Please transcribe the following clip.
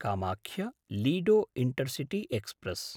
कामाख्य–लीडो intercity express